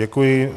Děkuji.